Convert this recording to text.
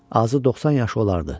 Azı 90 yaşı olardı.